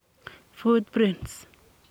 Footprints.